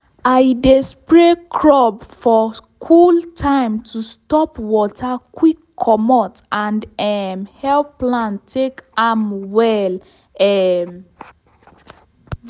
i dey spray crop for cool time to stop water quick comot and um help plant take am well. um